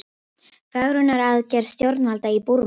Fegrunaraðgerð stjórnvalda í Búrma